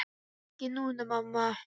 Ekki núna, mamma.